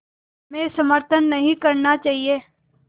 में समर्थन नहीं करना चाहिए